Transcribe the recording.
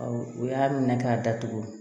U y'a minɛ k'a datugu